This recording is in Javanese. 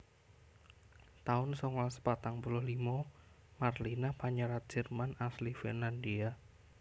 taun songolas patang puluh limo Marlina panyerat Jerman asli Finlandia